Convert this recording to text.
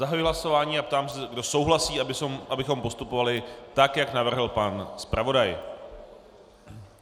Zahajuji hlasování a ptám se, kdo souhlasí, abychom postupovali tak, jak navrhl pan zpravodaj.